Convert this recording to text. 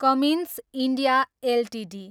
Cummins India Ltd